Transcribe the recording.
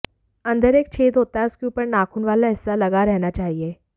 अंदर एक छेद होता है उसके ऊपर नाखून वाला हिस्सा लगा रहना चाहिए